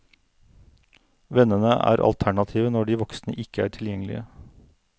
Vennene er alternativet når de voksne ikke er tilgjengelige.